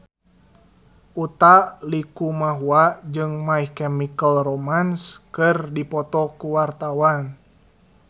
Utha Likumahua jeung My Chemical Romance keur dipoto ku wartawan